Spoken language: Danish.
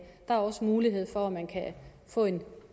der er også mulighed for at man kan få en